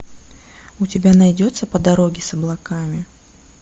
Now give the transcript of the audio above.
у тебя найдется по дороге с облаками